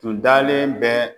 Tun dalen bɛ